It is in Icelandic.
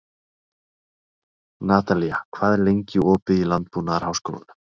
Natalía, hvað er lengi opið í Landbúnaðarháskólanum?